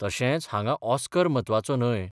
तशेंच हांगा ऑस्कर म्हत्वाचो न्हय.